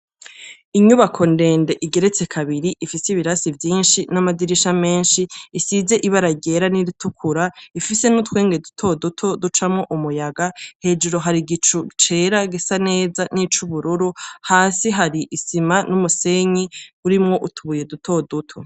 Inyubako ndende igeretse kabiri, ifise ibirasi vyinshi n'amadirisha menshi, isize ibara ryera n'iritukura, ifise n'utwenge duto duto ducamwo umuyaga, hejuru hari igicu cera gisa neza nic'ubururu, hasi hari isima n'umusenyi urimwo utubuye duto duto.